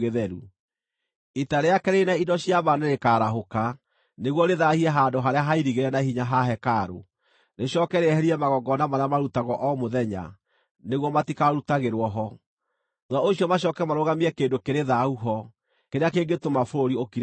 “Ita rĩake rĩrĩ na indo cia mbaara nĩrĩkarahũka nĩguo rĩthaahie handũ harĩa hairigĩre na hinya ha hekarũ, rĩcooke rĩeherie magongona marĩa marutagwo o mũthenya nĩguo matikarutagĩrwo ho. Thuutha ũcio macooke marũgamie kĩndũ kĩrĩ thaahu ho, kĩrĩa kĩngĩtũma bũrũri ũkire ihooru.